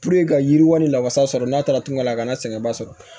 ka yiriwali la wasa sɔrɔ n'a taara tunga la kana sɛgɛn ba sɔrɔ